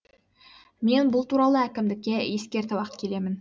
мен бұл туралы әкімдікке ескертіп ақ келемін